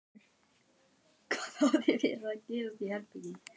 Hún vék fyrir honum svo hann kæmist inn í ganginn.